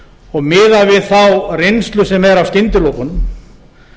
og miðað við þá reynslu sem er af skyndilokunum